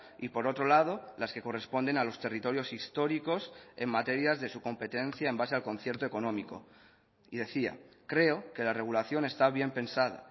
y por otro lado las que corresponden a los territorios históricos en materias de su competencia en base al concierto económico y decía creo que la regulación está bien pensada